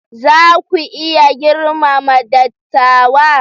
Za ku iya girmama dattawa?